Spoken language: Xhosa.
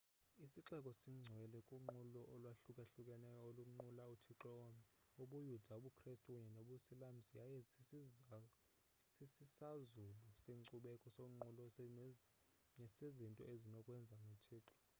isixeko singcwele kunqulo olwahlukahlukeneyo olunqula uthixo omnye ubuyuda ubukrestu kunye nobusilamsi yaye sisisazulu senkcubeko sonqulo nesezinto ezinokwenza nothixo